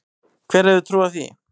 Hver hefði trúað því?